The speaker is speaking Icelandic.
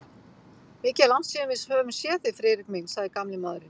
Mikið er langt síðan við höfum séð þig, Friðrik minn sagði gamli maðurinn.